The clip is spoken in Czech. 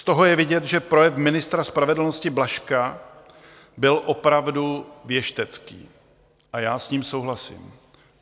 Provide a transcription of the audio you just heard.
Z toho je vidět, že projev ministra spravedlnosti Blažka byl opravdu věštecký, a já s ním souhlasím.